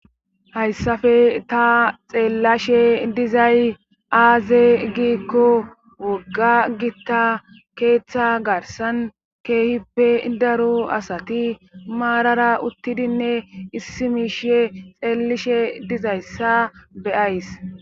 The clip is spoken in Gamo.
hayissafe ta xeellashe dizay aaze giikko wogga gitta keeththa garsan keehippe daro asati maarara uttidinne issi miishe xeellishe dizayssa be'ays